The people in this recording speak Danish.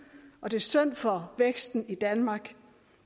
og det er synd for væksten i danmark